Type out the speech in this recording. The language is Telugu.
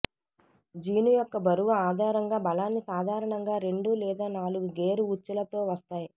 జీను యొక్క బరువు ఆధారంగా బలాన్ని సాధారణంగా రెండు లేదా నాలుగు గేర్ ఉచ్చులతో వస్తాయి